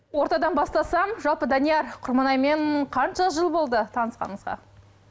ортадан бастасам жалпы данияр құрманаймен қанша жыл болды танысқаныңызға